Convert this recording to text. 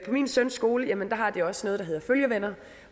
min søns skole har de også noget der hedder følgevenner